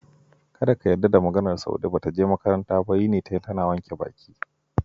Kada ka yarda da maganar Saude, ba ta je makaranta ba, yini ta yi tanan wanke baki.